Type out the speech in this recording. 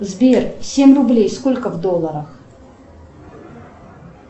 сбер семь рублей сколько в долларах